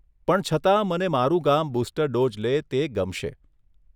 પણ છતાં મને મારું ગામ બુસ્ટર ડોઝ લે તે ગમશે.